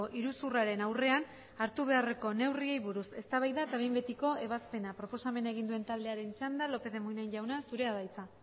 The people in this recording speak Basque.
iruzurraren aurrean hartu beharreko neurriei buruz eztabaida eta behin betiko ebazpena proposamen egin duen taldearen txanda lópez de munain jauna zurea da hitza